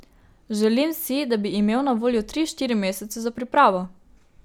Želim si, da bi imel na voljo tri, štiri mesece za pripravo.